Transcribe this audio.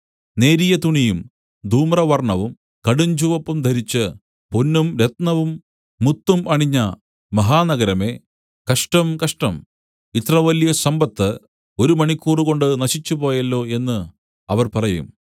നേരിയ തുണിയും ധൂമ്രവർണ്ണവും കടുഞ്ചുവപ്പും ധരിച്ച് പൊന്നും രത്നവും മുത്തും അണിഞ്ഞ മഹാനഗരമേ കഷ്ടം കഷ്ടം ഇത്രവലിയ സമ്പത്ത് ഒരു മണിക്കൂറുകൊണ്ടു നശിച്ചുപോയല്ലോ എന്നു അവർ പറയും